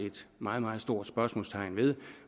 et meget meget stort spørgsmålstegn ved